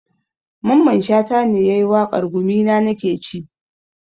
Mamman shata ne yayi waƙar 'gumina nakeci'